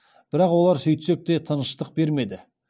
бірақ олар сөйтсек те тыныштық бермеді